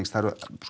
það eru